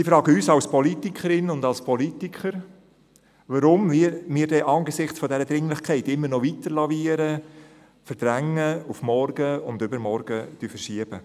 Sie fragen uns als Politikerin und Politiker, warum wir denn angesichts der Dringlichkeit immer noch lavieren, verdrängen, auf morgen und übermorgen verschieben.